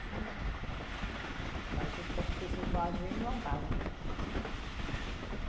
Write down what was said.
ia e vinha. Fazia o percurso em Juazeiro e voltava, né?